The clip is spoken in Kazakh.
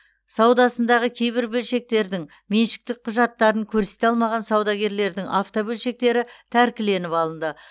саудасындағы кейбір бөлшектердің меншіктік құжаттарын көрсете алмаған саудагерлердің автобөлшектері тәркіленіп алынды